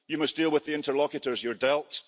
You must deal with the interlocutors you're dealt.